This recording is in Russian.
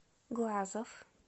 глазов